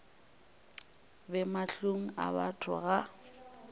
be mahlong a batho ga